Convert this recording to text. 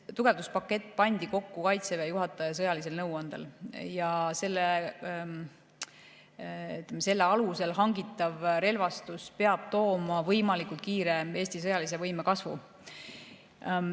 Tugevduspakett pandi kokku Kaitseväe juhataja sõjalise nõuande alusel ja selle alusel hangitav relvastus peab tooma Eesti sõjalise võime võimalikult kiire kasvu.